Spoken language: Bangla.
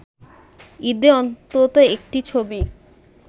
ঈদে অন্তত একটি ছবি